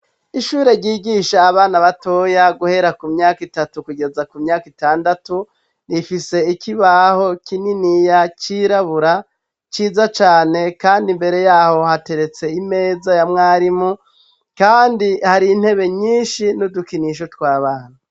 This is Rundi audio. Ishure ryigisha abana batoya guhera ku myaka itatu kugeza ku myaka itandatu, rifise ikibaho kininiya cirabura ciza cane. Kand'imbere y'aho, hateretse imeza ya mwarimu. Kandi har'intebe nyinshi n'udukinisho tw'abana.